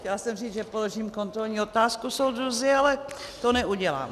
Chtěla jsem říct, že položím kontrolní otázku, soudruzi, ale to neudělám.